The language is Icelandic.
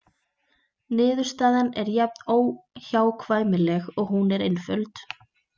Niðurstaðan er jafn óhjákvæmileg og hún er einföld.